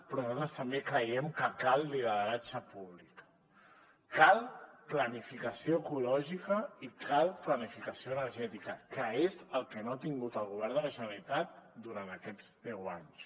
però nosaltres també creiem que cal lideratge públic cal planificació ecològica i cal planificació energètica que és el que no ha tingut el govern de la generalitat durant aquests deu anys